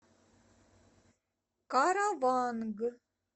караванг